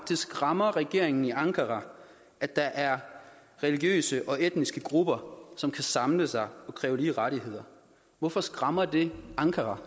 det skræmmer regeringen i ankara at der er religiøse og etniske grupper som kan samle sig og kræve lige rettigheder hvorfor skræmmer det i ankara